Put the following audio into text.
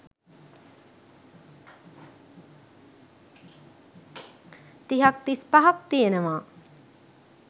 තිහක්‌ තිස්‌පහක්‌ තියෙනවා.